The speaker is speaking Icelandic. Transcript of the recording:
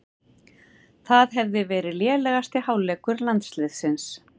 Það hefði verið lélegasti hálfleikur landsliðsins